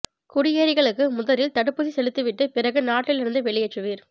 குடியேறிகளுக்கு முதலில் தடுப்பூசி செலுத்திவிட்டு பிறகு நாட்டிலிருந்து வெளியேற்றுவீர்